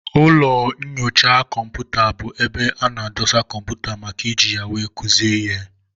Ụlọ nnyocha kọmputa bụ ebe ana edosa kọmputa màkà iji ya wee kuzie ihe.